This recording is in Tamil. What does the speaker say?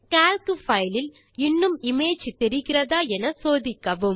கால்க் பைல் இல் இன்னும் இமேஜ் தெரிகிறதா என சோதிக்கவும்